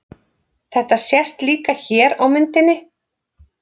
Þetta sést líka hér á myndinni.